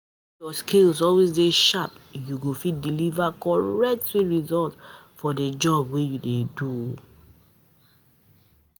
When ur skills always de sharp, you go fit deliver correct sweet results for di job wey u dey do.